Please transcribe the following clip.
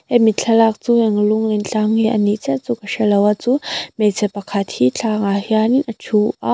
hemi thlalak chu eng lunglen tlang nge a nih chiah chu ka hrelo a chu hmeichhe pakhat hi tlangah hian a ṭhu a--